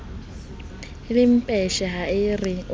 le lempetje ha ore o